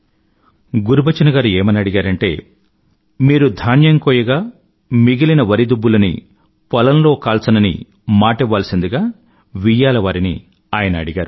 గురుబచన్ ఏమని అడిగారంటే పెళ్ళిలో మీరు ధాన్యం కోయగా మిగిలిన వరి దుబ్బులని పొలంలో కాల్చనని వియ్యాలవారిని మాటివ్వాల్సిందిగా ఆయన అడిగారు